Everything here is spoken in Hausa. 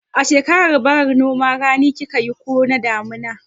A shekarar bara noman rani kika yi ko na damina?